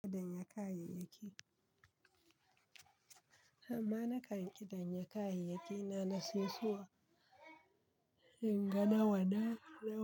Ƙidan ya kayayyaki. Amma na kan kiɗan ya kayayyaki na na sai suwa in ga nawa na nawa.